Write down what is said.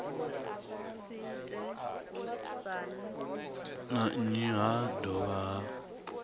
na nnyi ha dovha ha